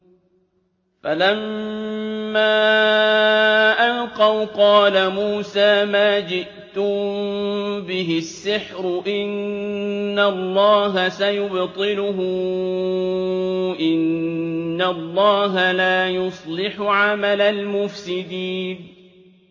فَلَمَّا أَلْقَوْا قَالَ مُوسَىٰ مَا جِئْتُم بِهِ السِّحْرُ ۖ إِنَّ اللَّهَ سَيُبْطِلُهُ ۖ إِنَّ اللَّهَ لَا يُصْلِحُ عَمَلَ الْمُفْسِدِينَ